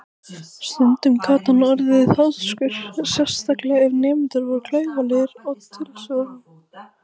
Stundum gat hann orðið háðskur, sérstaklega ef nemendur voru klaufalegir í tilsvörum.